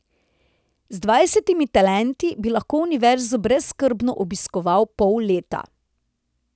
Z dvajsetimi talenti bi lahko Univerzo brezskrbno obiskoval pol leta.